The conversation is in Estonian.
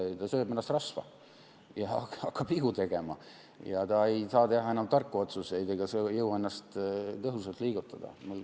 Ta sööb ennast rasva ja hakkab vigu tegema, ta ei saa enam teha tarku otsuseid ega jõua ennast tõhusalt liigutada.